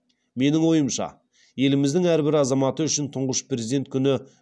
менің ойымша еліміздің әрбір азаматы үшін тұңғыш президент күні